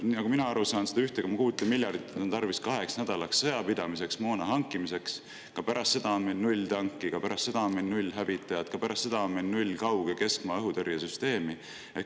Nagu mina aru saan, seda 1,6 miljardit on tarvis kahenädalase sõjapidamise jaoks moona hankimiseks, aga ka pärast seda on meil null tanki, ka pärast seda on meil null hävitajat, ka pärast seda on meil null kaug‑ ja keskmaa õhutõrjesüsteemi.